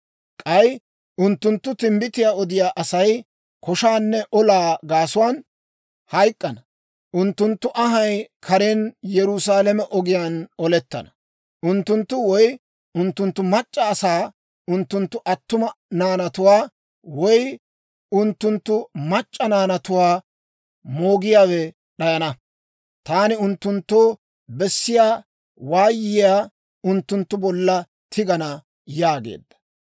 K'ay unttunttu timbbitiyaa odiyaa Asay koshaanne olaa gaasuwaan hayk'k'ana; unttunttu anhay karen Yerusaalame ogiyaan olettana. Unttunttu woy unttunttu mac'c'a asaa, unttunttu attuma naanatuwaa woy unttunttu mac'c'a naanatuwaa moogiyaawe d'ayana. Taani unttunttoo bessiyaa waayiyaa unttunttu bolla tigana» yaageedda.